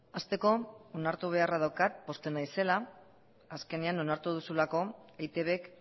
hasteko onartu beharra daukat pozten naizela azkenean onartu duzulako eitbk